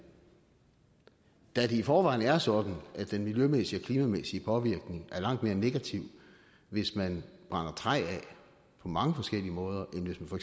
da det i forvejen er sådan at den miljømæssige og klimamæssige påvirkning er langt mere negativ hvis man brænder træ af på mange forskellige måder end hvis man for